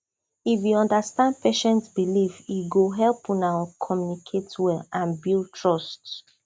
if you understand patient belief e go help una communicate well and build trust